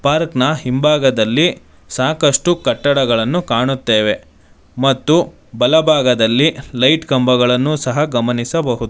Park ನ ಹಿಂಭಾಗದಲ್ಲಿ ಸಾಕಷ್ಟು ಕಟ್ಟಡಗಳನ್ನು ಕಾಣುತ್ತೆವೆ ಮತ್ತು ಬಲಭಾಗದಲ್ಲಿ ಲೈಟ್ ಕಂಬಗಳನ್ನು ಸಹ ಗಮನಿಸಬಹುದು.